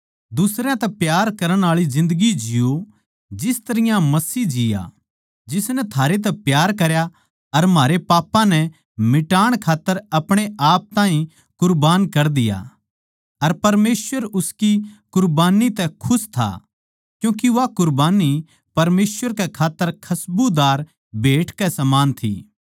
दुसरयां तै प्यार करण आळी जिन्दगी जिओ जिस तरियां मसीह जिया जिसनै थारे तै प्यार करया अर म्हारे पापां नै मिटाण खात्तर अपणेआप ताहीं कुरबान कर दिया अर परमेसवर उसकी कुरबान्नी तै खुश था क्यूँके वा कुरबान्नी परमेसवर कै खात्तर खसबूदार भेट कै समान थी